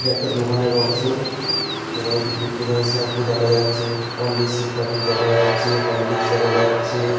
এটা একটা দোকানের অংশ। যেখানে বিভিন্ন ধরনের শ্যাম্পু দেখা যাচ্ছে হরলীকস -এর প্যাকেট দেখা যাচ্ছে হরলীকস দেখা যাচ্ছে।